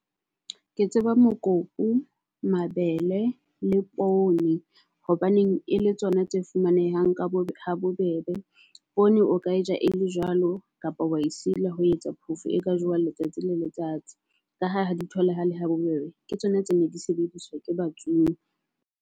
Ke tseba mokopu, mabele le poone. Hobaneng e le tsona tse fumanehang ka bo habobebe. Poone o ka e ja e le jwalo kapa wa e sila ho etsa phofo e ka jowa letsatsi le letsatsi. Ka ha ha di tholahale ha bobebe ke tsona tse ne di sebediswa ke batsuwe.